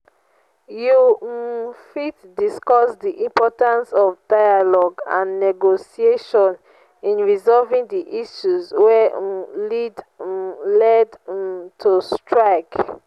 you um fit discuss di importance of dialogue and negotiation in resolving di issues wey um led um led um to strike.